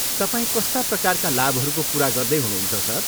तपाईँ कस्ता प्रकारका लाभहरूको कुरा गर्दै हुनुहुन्छ, सर?